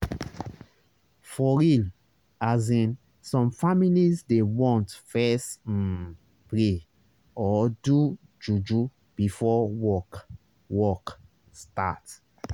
for real asin some families dey want fess um pray or do juju before work work start